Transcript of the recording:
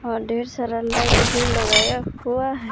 और ढेर सारा लाइट भी लगाया हुआ--